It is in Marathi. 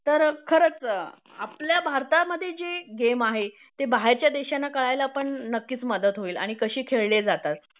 तर खरंच आपल्या भारतामध्ये जे गेम आहे ते बाहेरच्या देशांना कळायला पण नक्कीच मदत होईल आणि कशे खेळले जातात